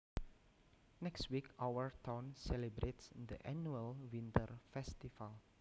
Next week our town celebrates the annual winter festival